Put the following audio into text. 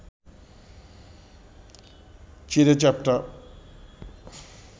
চিঁড়ে চ্যাপ্টা